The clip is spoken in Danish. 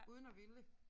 Uden at ville